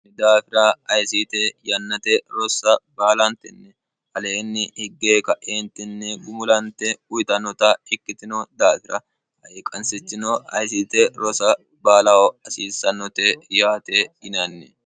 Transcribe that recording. ni daafira ayisiite yannate rossa baalantenni aleenni higgee ka'eentinni gumulante uyitannota ikkitino daafira haiqansichino ayisiite rosa baalaho hasiissannote yaate inanni